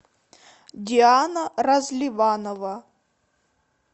диана разливанова